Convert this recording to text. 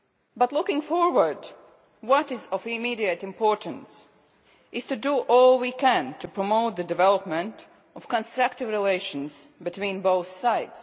But, looking forward, what is of immediate importance is to do all we can to promote the development of constructive relations between both sides.